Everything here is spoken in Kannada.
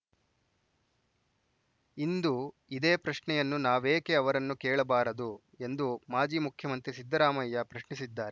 ಇಂದು ಇದೇ ಪ್ರಶ್ನೆಯನ್ನು ನಾವೇಕೆ ಅವರನ್ನು ಕೇಳಬಾರದು ಎಂದು ಮಾಜಿ ಮುಖ್ಯಮಂತ್ರಿ ಸಿದ್ದರಾಮಯ್ಯ ಪ್ರಶ್ನಿಸಿದ್ದಾರೆ